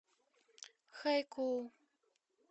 хайкоу